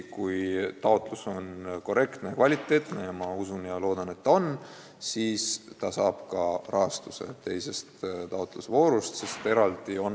Kui taotlus on korrektne – ja ma usun, et on –, siis Võru teises taotlusvoorus rahastuse saab.